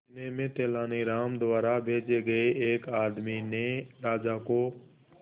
इतने में तेनालीराम द्वारा भेजे गए एक आदमी ने राजा को